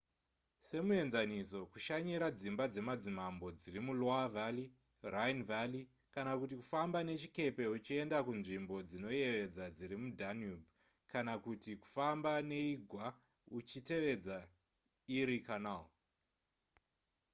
semuenzaniso kushanyira dzimba dzemadzimambo dziri muloire valley rhine valley kana kuti kufamba nechikepe uchienda kunzvimbo dzinoyevedza dziri mudanube kana kuti kufamba neigwa uchitevedza erie canal